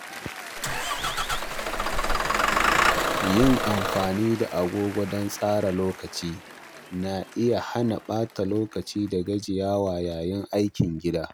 Yin amfani da agogo don tsara lokaci na iya hana ɓata lokaci da gajiyawa yayin aikin gida.